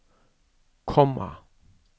komma